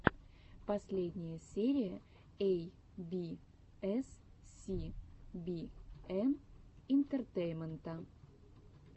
последняя серия эй би эс си би эн интертеймента